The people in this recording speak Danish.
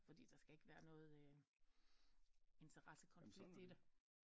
Fordi der skal ikke være noget interessekonflikt i det